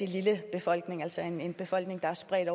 lille befolkning altså en en befolkning der er spredt